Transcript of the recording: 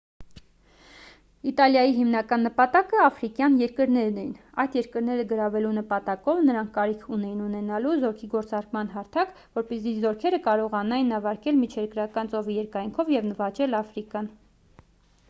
իտալիայի հիմնական նպատակը աֆրիկյան երկրներն էին այդ երկրները գրավելու նպատակով նրանք կարիք ունեին ունենալու զորքի գործարկման հարթակ որպեսզի զորքերը կարողանային նավարկել միջերկրական ծովի երկայնքով և նվաճել աֆրիկան